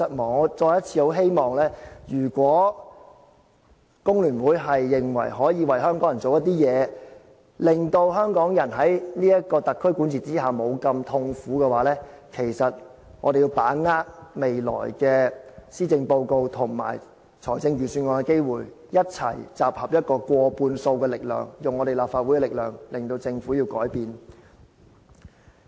我再次希望，如果工聯會認為可以為香港人做點事，令香港人在特區管治之下，沒有這麼痛苦的話，其實我們要把握未來的施政報告和財政預算案的機會，一起集合過半數的力量，用立法會的力量，令政府改變。